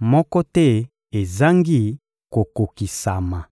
moko te ezangi kokokisama.